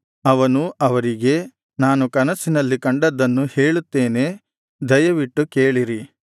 ಅವನು ಅವರಿಗೆ ನಾನು ಕನಸಿನಲ್ಲಿ ಕಂಡದ್ದನ್ನು ಹೇಳುತ್ತೇನೆ ದಯವಿಟ್ಟು ಕೇಳಿರಿ